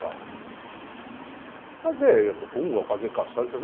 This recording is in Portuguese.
Para fazer rua, fazer calçada essas...